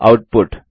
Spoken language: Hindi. आउटपुट